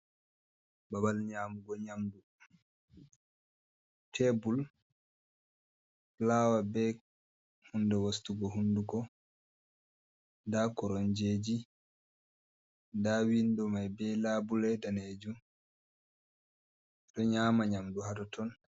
Babal nyamugo nyamdu, tebur fulawa be hunɗe wostugo hunduko, nda koromjeji, nda windo mai be labule danejum, ɓeɗo nyama nyamdu hatoton.